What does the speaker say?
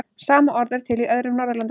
Sama orð er til í öðrum Norðurlandamálum.